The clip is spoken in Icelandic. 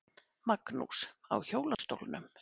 Magnús: Á hjólastólnum?